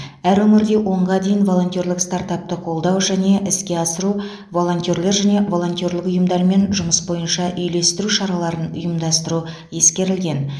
әр өңірде онға дейін волонтерлік стартапты қолдау және іске асыру волонтерлер және волонтерлік ұйымдармен жұмыс бойынша үйлестіру шараларын ұйымдастыру ескерілген